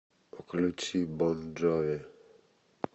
включи бон джови